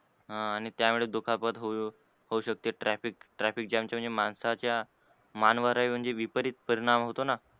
ह आणि त्यामुळे दुखापत होवू शकते. traffic traffic jam च्या म्हणजे माणसाच्या मान वर हि विपरीत परिणाम होत न?